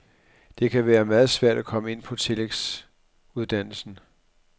Det kan være meget svært at komme ind på tillægsuddannelsen.